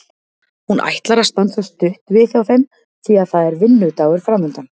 Hún ætlar að stansa stutt við hjá þeim því að það er vinnudagur framundan.